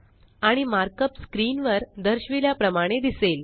आणि markup screen वर दर्शविल्या प्रमाणे दिसेल